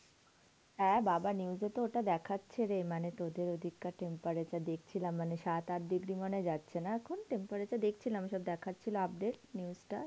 হ্যাঁ বাবা! News এতো ওটা দেখাচ্ছেরে মানে তোদের ঐদিককার temperature দেখছিলাম. মানে সাত আট degree মানে যাচ্ছে না এখন temperature? দেখছিলাম, সব দেখাচ্ছিল update news টা,